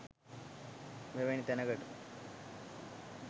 මෙවැනි තැනකට